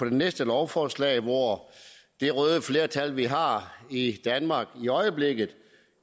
det næste lovforslag hvor det røde flertal vi har i danmark i øjeblikket